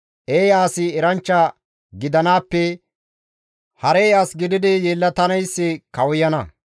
Eeya asi eranchcha gidanaappe harey as gididi yelettanayssi kawuyana;